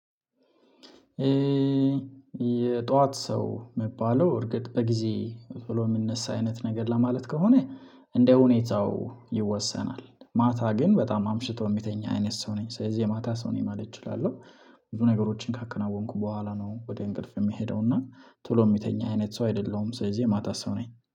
የጧት ሰው መባለው እርግጥ በጊዜ ቶሎ የምነሳ አይነት ነገር ለማለት ከሆነ እንደ ሁኔታው ይወሰናል። ማታ ግን በጣም አምሽቶ የሚተኛ አይነት ሰው ነኝ ስለዚህ የማታ ሰው ነኝ ማለት እችላለሁ። ብዙ ነገሮችን ካከናወንኩ በኋላ ነው ወደ እንቅልፍ የምሄደው እና ቶሎ የሚተኝ አይነት ሰው አይደለሁም። ስለዚህ የማታ ሰው ነኝ